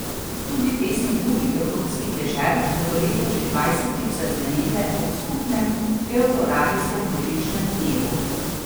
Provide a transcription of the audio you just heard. Tudi pesmi drugih evropskih dežel bodo letos že dvajsetič zazvenele ob skupnem Evroradijskem božičnem dnevu.